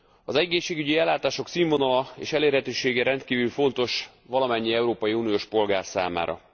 Az egészségügyi ellátások színvonala és elérhetősége rendkívül fontos valamennyi európai uniós polgár számára.